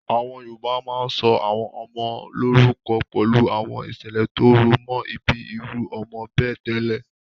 Àwọn Yorùbá máa ń sọ àwọn ọmọ wọn lórúkọ pẹ̀lú àwọn ìṣẹ̀lẹ̀ tó rọ̀ mọ́ ìbí irú ọmọ bẹ́ẹ̀ tẹ́lẹ̀.